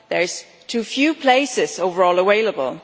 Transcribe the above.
There are too few places overall available.